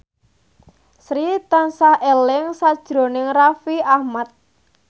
Sri tansah eling sakjroning Raffi Ahmad